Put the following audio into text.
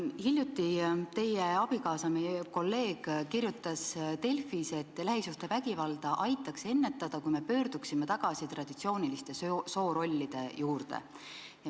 Hiljuti kirjutas teie abikaasa, meie kolleeg, Delfis, et lähisuhtevägivalda aitaks ennetada, kui me pöörduksime tagasi traditsiooniliste soorollide juurde.